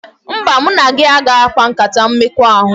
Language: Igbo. Mba, mụ na gị agaghị akpa nkata mmekọahụ